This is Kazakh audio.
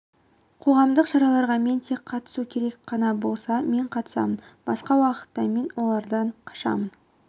қоғамдық шараларға мен тек қатысу керек қана болса мен қатысамын басқа уақытта мен олардан қашамын